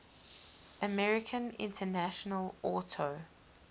american international auto